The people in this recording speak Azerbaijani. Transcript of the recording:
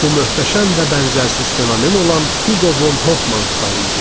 Bu möhtəşəm və bənzərsiz fenomen olan Hugo von Hofmannstal idi.